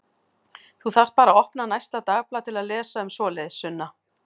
Þú þarft bara að opna næsta dagblað til að lesa um svoleiðis, Sunna.